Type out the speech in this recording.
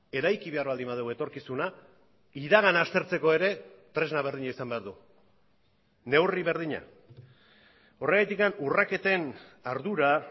eraiki behar baldin badugu etorkizuna iragana aztertzeko ere tresna berdina izan behar du neurri berdina horregatik urraketen ardura